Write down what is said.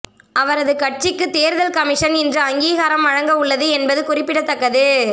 அவரது கட்சிக்கு தேர்தல் கமிஷன் இன்று அங்கீகாரம் வழங்கவுள்ளது என்பது குறிப்பிடத்தக்கது